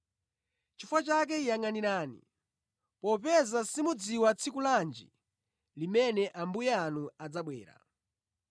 “Chifukwa chake yangʼanirani, popeza simudziwa tsiku lanji limene Ambuye anu adzabwera.